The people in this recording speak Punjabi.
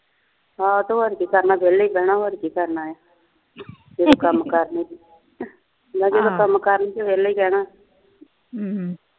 ਤੇ ਹੋਰ ਕੀ ਕਰਨਾ ਆ ਵਿਹਲੇ ਵਿਹਣਾ ਹੋਰ ਕੀ ਕਰਨਾ ਆ ਜਦੋ ਕੰਮ ਕਾਰ ਨੀ ਮੈ ਜਦੋ ਕੰਮ ਕਾਰ ਨੀ ਵਿਹਲੇ ਬਹਿਣਾ ਹਮ